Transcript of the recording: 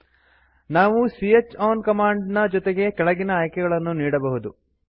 000113 000107 ನಾವು c ಹ್ ಔನ್ ಕಮಾಂಡ್ ನ ಜೊತೆಗೆ ಕೆಳಗಿನ ಆಯ್ಕೆಗಳನ್ನು ನೀಡಬಹುದು